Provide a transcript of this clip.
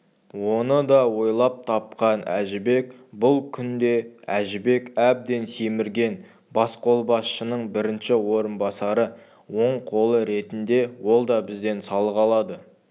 оны да ойлап тапқан әжібек бұл күнде әжібек әбден семірген басқолбасшының бірінші орынбасары оң қолы ретінде ол да бізден салық алады